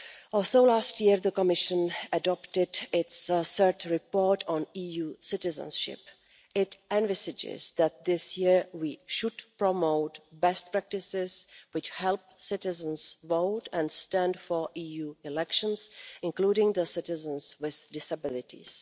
Also, last year, the Commission adopted its third report on EU citizenship. It envisages that this year we should promote best practices which help citizens vote and stand in EU elections, including citizens with disabilities.